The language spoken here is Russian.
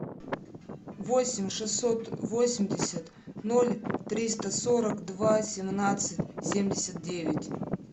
восемь шестьсот восемьдесят ноль триста сорок два семнадцать семьдесят девять